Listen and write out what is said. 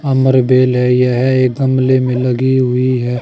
अमर बेल है यह एक गमले में लगी हुई है।